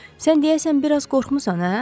Sən deyəsən bir az qorxmusan, hə?